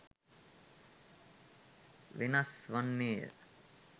වෙනස් වන්නේය.